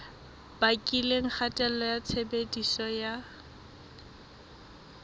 bakileng kgatello ya tshebediso ya